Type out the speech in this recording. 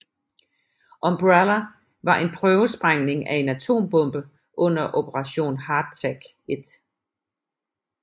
Umbrella var en prøvesprængning af en atombombe under Operation Hardtack I